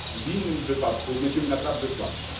W innym wypadku będziemy naprawdę słabsi.